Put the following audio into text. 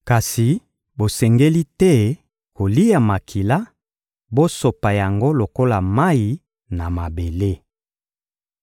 Kasi bosengeli te kolia makila; bosopa yango lokola mayi na mabele.